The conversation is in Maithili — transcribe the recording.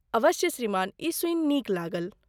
अवश्य श्रीमान, ई सूनि नीक लागल।